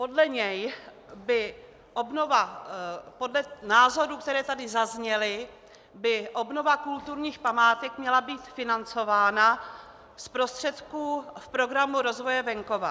Podle názorů, které tady zazněly, by obnova kulturních památek měla být financována z prostředků Programu rozvoje venkova.